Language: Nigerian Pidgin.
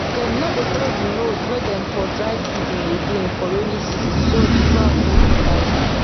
dem no dey follow the road wey dem for dry season again for rainy season so the ground no go tight